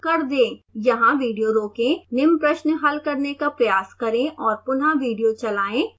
यहाँ विडियो रोकें निम्न प्रश्न हल करने का प्रयास करें और पुनःविडियो चलाएं